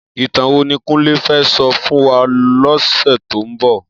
Itàn wó ni Kunle fè sò fún wá lòsè tó n bò?